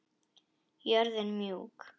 Jörðin mjúk.